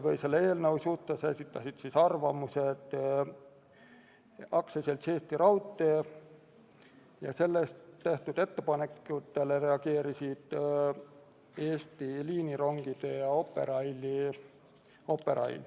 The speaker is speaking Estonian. Eelnõu suhtes esitas arvamuse AS Eesti Raudtee ja tehtud ettepanekutele reageerisid Eesti Liinirongid ja Operail.